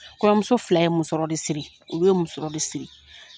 Kɔɲɔmuso fila ye muso de siri, olu ye musɔrɔ de siri.